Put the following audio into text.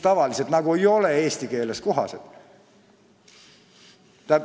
Tavaliselt need eesti keeles kohased ei ole.